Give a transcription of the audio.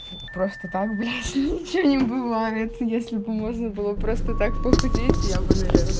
просто так блять ничего не бывает если бы можно было просто так похудеть я бы наверное